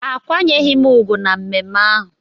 Akwanyeghị m ugwu na mmemme ahụ